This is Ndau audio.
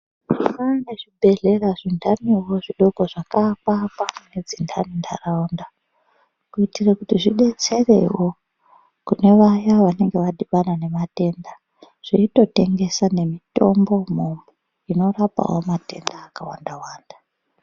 Kune zvibhedhlera zvindaniwo zvidoko zvakaakwa-akwa nedzindani ntaraunda kuitire kuti zvidetserewo kune vaya vanenge vadhibana nematenda. Zveitotengesawo nemitombo umomo, inorapawo matenda yakawanda-wanda.